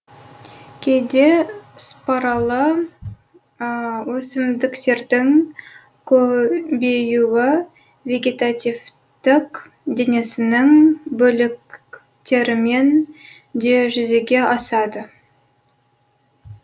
кейде спаралы өсмдіктердің көбеюі вегетативтік денесінің бөліктерімен де жүзеге асады